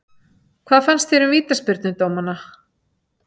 Hvað fannst þér um vítaspyrnudómana?